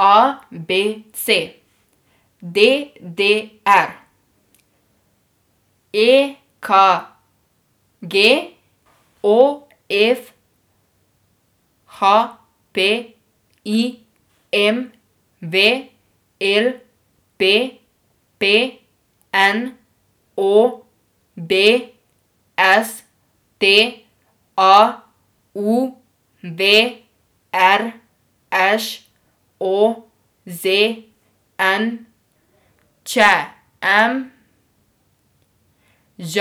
A B C; D D R; E K G; O F; H P; I M V; L P P; N O B; S T A; U V; R Š; O Z N; Č M; Ž